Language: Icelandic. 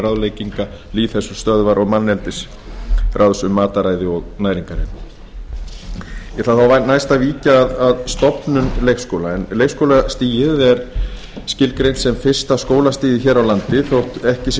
ráðlegginga lýðheilsustöðvar og manneldisráðs um mataræði og næringarefni ég ætla nú næst að víkja að stofnun leikskóla leikskólastigið er skilgreint sem fyrsta skólastigið hér á landi þótt ekki sé kveðið